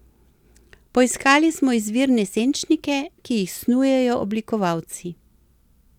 Poiskali smo izvirne senčnike, ki jih snujejo oblikovalci.